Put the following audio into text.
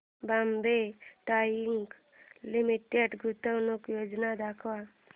Bombay dyeing limited गुंतवणूक योजना दाखव